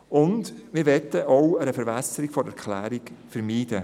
Auch möchten wir eine Verwässerung der Erklärung vermeiden.